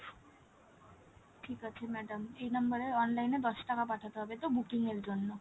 ঠিক আছে madam এই number এর online দশ টাকা পাঠাতে হবে, তো booking এর জন্য।